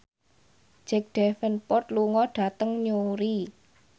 Jack Davenport lunga dhateng Newry